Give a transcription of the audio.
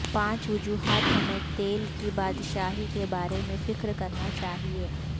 پانچ وجوہات ہمیں تیل کی بادشاہی کے بارے میں فکر کرنا چاہئے